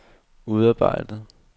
udarbejdet